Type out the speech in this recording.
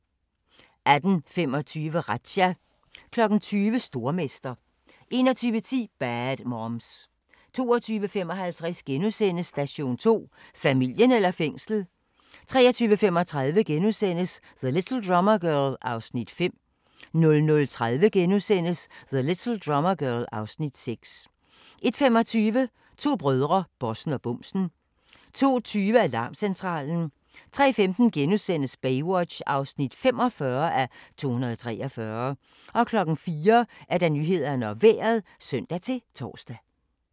18:25: Razzia 20:00: Stormester 21:10: Bad Moms 22:55: Station 2: Familien eller fængslet? * 23:35: The Little Drummer Girl (Afs. 5)* 00:30: The Little Drummer Girl (Afs. 6)* 01:25: To brødre - bossen og bumsen 02:20: Alarmcentralen 03:15: Baywatch (45:243)* 04:00: Nyhederne og Vejret (søn-tor)